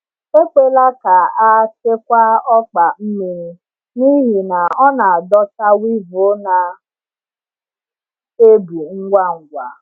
Ekwela ka a chekwaa ọkpa mmiri, n’ihi na ọ na-adọta weevil na ebu ngwa ngwa.